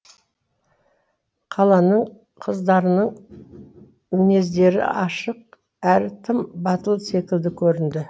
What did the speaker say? қаланың қыздарының мінездері ашық әрі тым батыл секілді көрінді